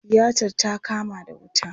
Tiyatar ta kama da wuta.